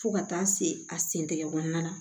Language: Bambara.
Fo ka taa se a sen tigɛ kɔnɔna la